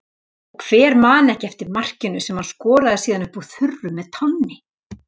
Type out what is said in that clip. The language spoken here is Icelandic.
Og hver man ekki eftir markinu sem hann skoraði síðan upp úr þurru með tánni?